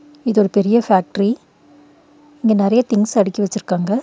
இது ஒரு பெரிய ஃபேக்ட்ரி இங்க நெறய திங்ஸ் அடுக்கி வெச்சிருக்காங்க.